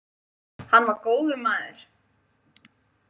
Hann var góður maður